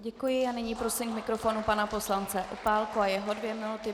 Děkuji a nyní prosím k mikrofonu pana poslance Opálku a jeho dvě minuty.